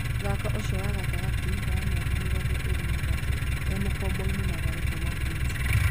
Mũthaki ũcio wa gatagatĩ, wa mĩaka mĩrongo ĩrĩ na ĩtatũ, e mũkomboinĩ Mathare kuma Ulinzi.